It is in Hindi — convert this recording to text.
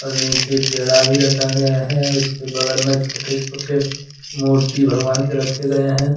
नीचे पेड़ा भी रखा गया है उसके बगल में छोटे छोटे मूर्ति भगवान के रखे गए हैं।